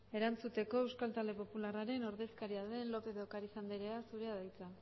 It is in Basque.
erantzuteko euskal talde popularraren ordezkaria den lópez de ocariz andreak zurea da hitza